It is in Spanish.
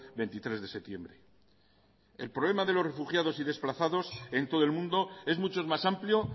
veintitrés de septiembre el problema de los refugiados y desplazados en todo el mundo es mucho más amplio